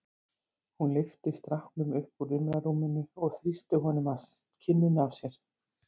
Hún lyfti stráknum upp úr rimlarúminu og þrýsti honum að kinninni á sér.